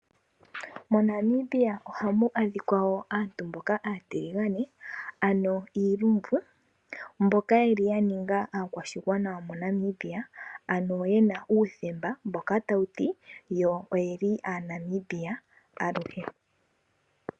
MoNamibia ohamu adhika wo aantu mboka aatiligane, ano iilumbu, mboka yeli yaninga aakwashigwana yomoNamibia, ano yena uuthemba tawuti yo oyeli AaNamibia aluhe.